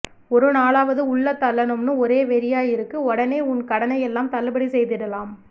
ஒருநாளாவது உள்ள தள்ளணும்னு ஒரே வெறியாயிருக்கு ஒடனே உன்கடனையெல்லாம் தள்ளுபடி செய்திடலாம்